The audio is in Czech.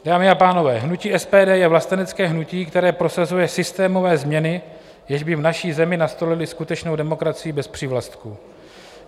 Dámy a pánové, hnutí SPD je vlastenecké hnutí, které prosazuje systémové změny, jež by v naší zemi nastolily skutečnou demokracii bez přívlastků.